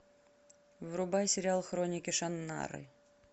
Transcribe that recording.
врубай сериал хроники шаннары